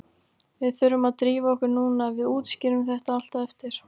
Við þurfum að drífa okkur núna, við útskýrum þetta allt á eftir.